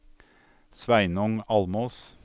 Sveinung Almås